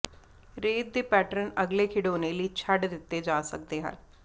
ਰੇਤ ਦੇ ਪੈਟਰਨ ਅਗਲੇ ਖਿਡੌਣੇ ਲਈ ਛੱਡ ਦਿੱਤੇ ਜਾ ਸਕਦੇ ਹਨ